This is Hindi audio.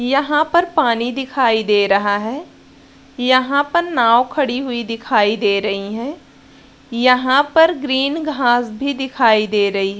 यहाँ पर पानी दिखाई दे रहा है यहाँ पर नाव खड़ी हुई दिखाई दे रही हैं यहाँ पर ग्रीन घास भी दिखाई दे रही --